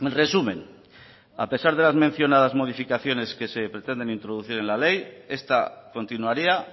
resumen a pesar de las mencionadas modificaciones que se pretenden introducir en la ley esta continuaría